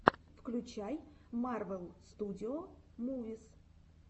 включай марвел студио мувис